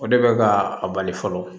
O de bɛ ka a bali fɔlɔ